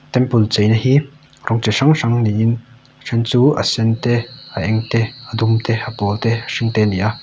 temple cheina hi rawng chi hrang hrang niin then chu a sen te a eng te a dum te a pawl te a hring te a ni a.